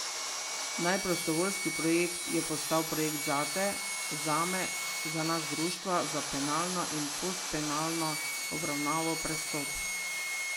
Naj prostovoljski projekt je postal projekt Zate, zame, za nas Društva za penalno in postpenalno obravnavo Prestop.